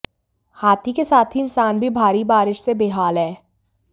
हाथी के साथ ही इंसान भी भारी बारिश से बेहाल हैं